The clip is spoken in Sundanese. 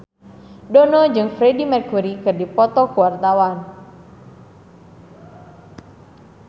Dono jeung Freedie Mercury keur dipoto ku wartawan